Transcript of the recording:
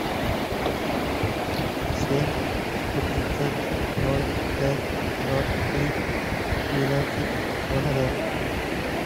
семь сто тридцать ноль пять два три двенадцать два ноля